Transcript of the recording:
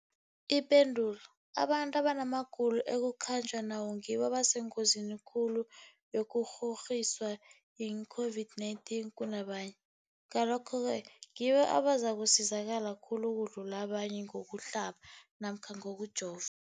Ipendulo, abantu abanamagulo ekukhanjwa nawo ngibo abasengozini khulu yokukghokghiswa yi-COVID-19 kunabanye, Ngalokhu-ke ngibo abazakusizakala khulu ukudlula abanye ngokuhlaba namkha ngokujova.